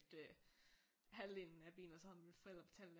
Øh halvdelen af bilen og så havde mine forældre betalt